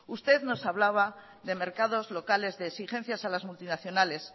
usted nos hablaba de mercados locales de exigencias a las multinacionales